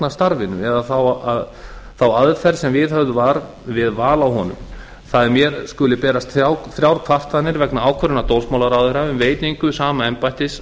starfinu eða þá aðferð sem viðhöfð var við val á honum það að mér skuli berast þrjár kvartanir vegna ákvörðunar dómsmálaráðherra um veitingu sama embættis